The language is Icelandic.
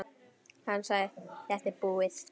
Hann sagði: Þetta er búið.